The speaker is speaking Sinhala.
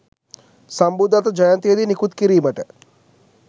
සම්බුද්ධත්ව ජයන්තියේ දී නිකුත් කිරීමට